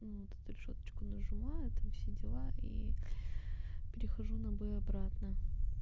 вот тут решёточку нажимаю там все дела и перехожу на бой обратно